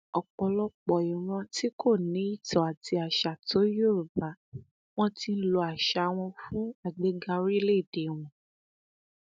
ọpọlọpọ ìran tí kò ní ìtàn àti àṣà tó yorùbá wọn ti ń lo àṣà wọn fún àgbéga orílẹèdè wọn